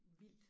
Vildt